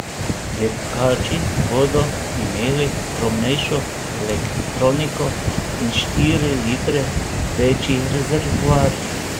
Dirkači bodo imeli skromnejšo elektroniko in štiri litre večji rezervoar.